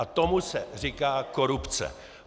A tomu se říká korupce.